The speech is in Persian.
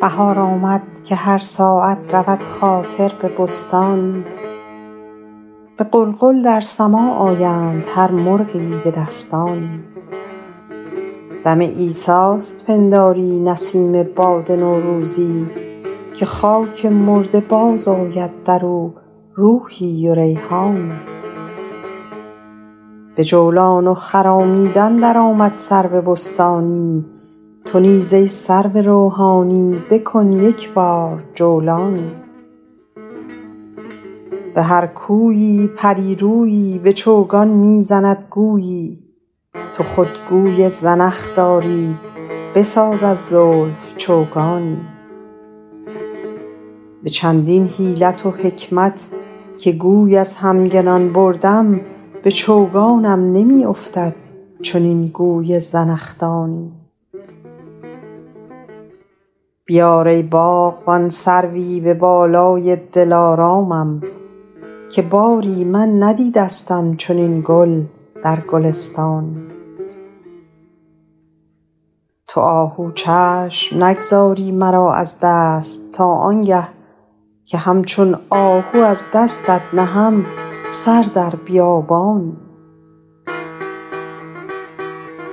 بهار آمد که هر ساعت رود خاطر به بستانی به غلغل در سماع آیند هر مرغی به دستانی دم عیسیست پنداری نسیم باد نوروزی که خاک مرده باز آید در او روحی و ریحانی به جولان و خرامیدن در آمد سرو بستانی تو نیز ای سرو روحانی بکن یک بار جولانی به هر کویی پری رویی به چوگان می زند گویی تو خود گوی زنخ داری بساز از زلف چوگانی به چندین حیلت و حکمت که گوی از همگنان بردم به چوگانم نمی افتد چنین گوی زنخدانی بیار ای باغبان سروی به بالای دلارامم که باری من ندیدستم چنین گل در گلستانی تو آهو چشم نگذاری مرا از دست تا آن گه که همچون آهو از دستت نهم سر در بیابانی